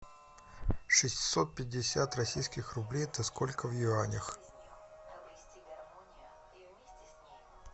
шестьсот пятьдесят российских рублей это сколько в юанях